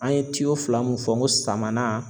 An ye fila mun fɔ n ko samanan